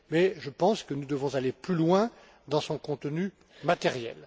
Mais je pense que nous devons aller plus loin dans son contenu matériel.